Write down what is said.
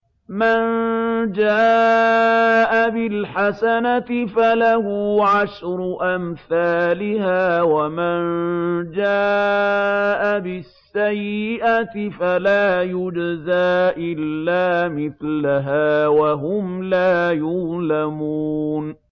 مَن جَاءَ بِالْحَسَنَةِ فَلَهُ عَشْرُ أَمْثَالِهَا ۖ وَمَن جَاءَ بِالسَّيِّئَةِ فَلَا يُجْزَىٰ إِلَّا مِثْلَهَا وَهُمْ لَا يُظْلَمُونَ